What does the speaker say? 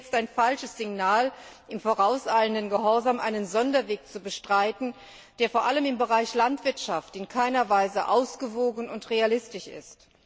Es wäre jetzt ein falsches Signal, im vorauseilenden Gehorsam einen Sonderweg zu beschreiten, der vor allem im Bereich Landwirtschaft in keiner Weise ausgewogen und realistisch ist.